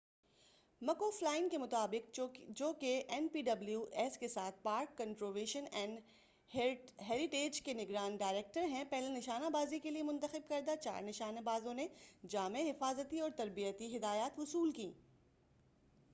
مک O'Flynn کے مُطابق جو کہ این پی ڈبلیو ایس کے ساتھ پارک کنزرویشن اینڈ ہیریٹیج کے نگراں ڈائریکٹر ہیں پہلے نشانہ بازی کے لیے منتخب کردہ چار نشانے بازوں نے جامع حفاظتی اور تربیتی ہدایات وصُول کیں